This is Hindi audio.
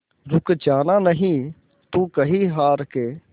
रुक जाना नहीं तू कहीं हार के